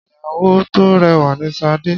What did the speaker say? Ìyàwó tó rẹwà ni Sade.